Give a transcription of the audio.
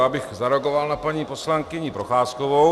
Já bych zareagoval na paní poslankyni Procházkovou.